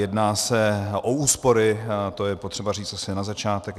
Jedná se o úspory, to je potřeba říct asi na začátek.